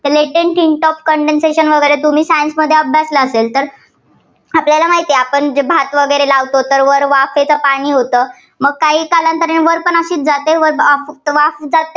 condensation वगैरे तुम्ही science मध्ये अभ्यासलं असेल. तर आपल्याला माहिती आहे, आपण जे भात वगैरे लावतो वर वाफेचं पाणी होतं, मग काही कालांतराने वर पण अशीच जाते. तर वर फक्त वाफ